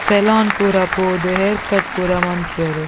Salon ಪೂರ ಪೋದು hair cut ಪೂರ ಮನ್ಪುವೆರ್.